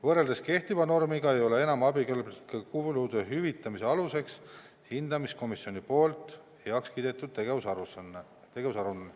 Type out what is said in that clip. Võrreldes kehtiva normiga ei ole enam abikõlblike kulude hüvitamise aluseks hindamiskomisjoni heaks kiidetud tegevusaruanne.